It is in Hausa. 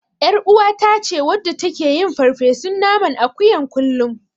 Ƴaruwata ce wadda take yin farfesun naman akuyan kullum.